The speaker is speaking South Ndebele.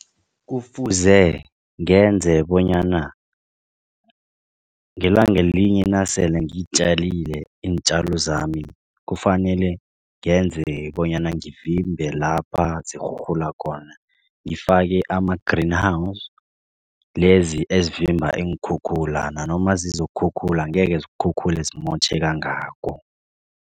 Kufuze ngenze bonyana ngelanga elinye nasele ngitjalile iintjalo zami kufanele ngenze bonyana ngivimbe lapha zirhurhula khona ngifake ama-Greenhouse lezi ezivimba iinkhukhula nanoma zizokukhukhula angeke zikhukhule zimotjhe kangako.